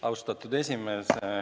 Austatud esimees!